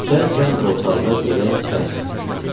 İçərkən ortalığa belə bəhs düşdü.